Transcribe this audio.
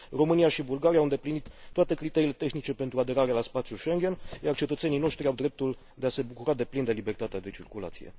România și Bulgaria au îndeplinit toate criteriile tehnice pentru aderarea la spațiul Schengen, iar cetățenii noștri au dreptul de a se bucura deplin de libertatea de circulație.